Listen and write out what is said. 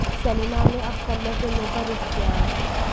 Selina ने अब कन्नड़ फिल्मों का रुख किया है